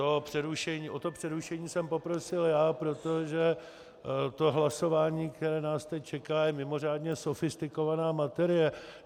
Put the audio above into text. O to přerušení jsem poprosil já, protože to hlasování, které nás teď čeká, je mimořádně sofistikovaná materie.